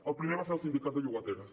el primer va ser el sindicat de llogateres